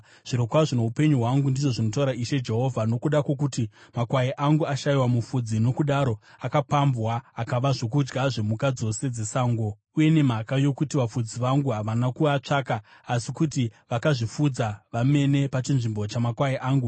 Zvirokwazvo noupenyu hwangu, ndizvo zvinotaura Ishe Jehovha, nokuda kwokuti makwai angu ashayiwa mufudzi, nokudaro akapambwa akava zvokudya zvemhuka dzose dzesango, uye nemhaka yokuti vafudzi vangu havana kuatsvaka asi kuti vakazvifudza vamene pachinzvimbo chamakwai angu,